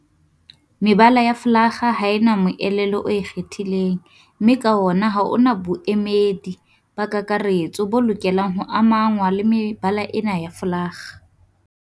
Mebala ya folakga ha e na moelelo o ikgethileng mme ka hona ha ho na boemedi ba kakaretso bo lokelang ho amangwa le mebala ena ya folakga.